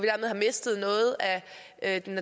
at der